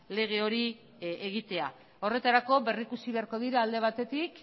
lege hori egitea horretarako berrikusi beharko dira alde batetik